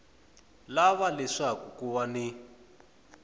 lava leswaku ku va ni